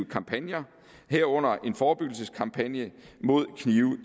kampagner herunder en forebyggelseskampagne mod knive